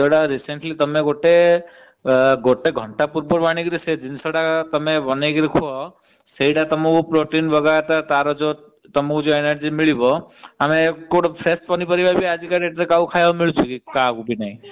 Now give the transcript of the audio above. ସେ ଖାଦ୍ୟ ଗୋଟେ ଘଣ୍ଟା ପୂର୍ବରୁ ଆଣି ତମେ ବନେଇକି ଖାଇବା ସେଇଟା ତମକୁ protein ଦେବ ତାର ସେଇଟା ତମକୁ ଯୋଉ energy ମିଳିବ। ଗୋଟେ ଫ୍ରେଶ ପନିପରିବା ଆଜି କାହାକୁ ଖାଇବାକୁ ମିଳୁଛି କି ।